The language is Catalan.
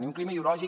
i un clima ideològic